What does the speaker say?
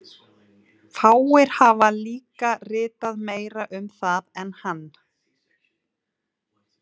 Fáir hafa líka ritað meira um það en hann.